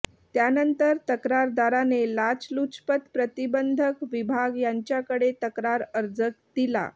त्यानंतर तक्रारदाराने लाचलुचपत प्रतिबंधक विभाग यांच्याकडे तक्रार अर्ज दिला